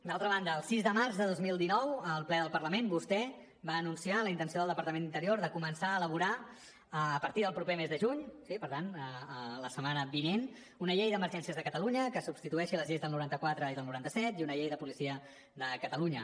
d’altra banda el sis de març de dos mil dinou al ple del parlament vostè va anunciar la intenció del departament d’interior de començar a elaborar a partir del proper mes de juny sí per tant la setmana vinent una llei d’emergències de catalunya que substitueixi les lleis del noranta quatre i del noranta set i una llei de policia de catalunya